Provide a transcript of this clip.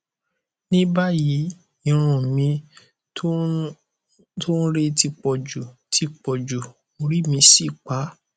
ní báyìí irun mi tó ń re ti pọjù ti pọjù orí mì sì pá